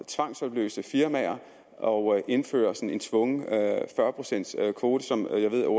tvangsopløse firmaer og indføre en tvungen fyrre procents kvote som